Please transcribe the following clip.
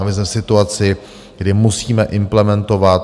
A my jsme v situaci, kdy musíme implementovat.